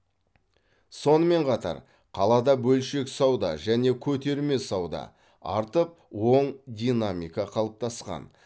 сонымен қатар қалада бөлшек сауда және көтерме сауда артып оң динамика қалыптасқан